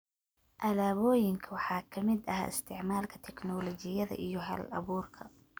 Alaabooyinka waxaa ka mid ah isticmaalka tignoolajiyada iyo hal-abuurka.